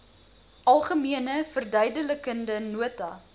algemene verduidelikende nota